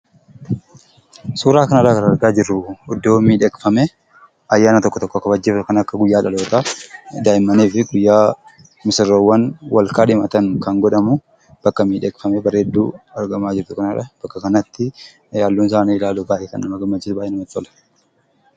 Suuraa kanarraa kan argaa jirru iddoo miidhagfamee, ayyaana tokko tokko kabajuudhaaf, kan akka guyyaa dhalootaa daa'immanii fi guyyaa misirroowwan wal kaadhimatan kan godhamu. Bakka miidhagfamaa bareedduu argamaa jirtu kanadha. Bakka kanatti halluun isaa illee baay'ee bareedaadha! Baay'ee namatti tola!